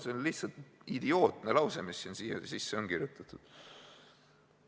See on lihtsalt idiootne lause, mis siia sisse on kirjutatud.